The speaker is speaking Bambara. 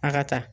A ka taa